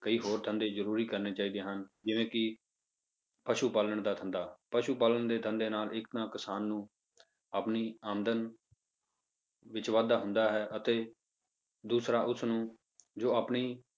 ਕਈ ਹੋਰ ਧੰਦੇ ਜ਼ਰੂਰੀ ਕਰਨੇ ਚਾਹੀਦੇ ਹਨ, ਜਿਵੇਂ ਕਿ ਪਸੂ ਪਾਲਣ ਦਾ ਧੰਦਾ, ਪਸੂ ਪਾਲਣ ਦੇ ਧੰਦੇ ਨਾਲ ਇੱਕ ਤਾਂ ਕਿਸਾਨ ਨੂੰ ਆਪਣੀ ਆਮਦਨ ਵਿੱਚ ਵਾਧਾ ਹੁੰਦਾ ਹੈ ਅਤੇ ਦੂਸਰਾ ਉਸਨੂੰ ਜੋ ਆਪਣੀ